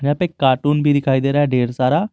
एक कार्टून भी दिखाई दे रहा है ढेर सारा।